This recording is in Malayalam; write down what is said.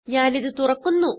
ഞാനിത് തുറക്കുന്നു